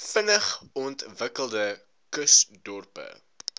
vinnig ontwikkelende kusdorpe